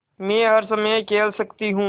मै हर समय खेल सकती हूँ